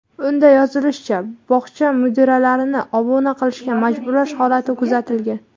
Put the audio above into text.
Unda yozilishicha, bog‘cha mudiralarini obuna qilishga majburlash holati kuzatilgan.